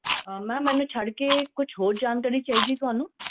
ਅਹ ma'am ਇਹਨੂੰ ਛੱਡ ਕੇ ਕੁਛ ਹੋਰ ਜਾਣਕਾਰੀ ਚਾਹੀਦੀ ਹੈ ਤੁਹਾਨੂੰ?